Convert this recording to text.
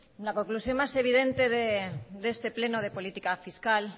la conclusión más evidente de este pleno de política fiscal